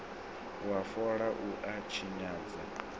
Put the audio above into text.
wa fola u a tshinyadza